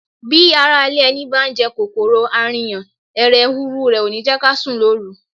Bí ará ilé ẹni bá ń jẹ kòkòrò arìnyà, hẹ̀rẹ̀huru rẹ̀ ò ní jẹ́ ká sùn lóru.